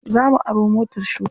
Za mu aro motar shuka.